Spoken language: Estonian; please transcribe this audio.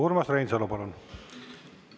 Urmas Reinsalu, palun!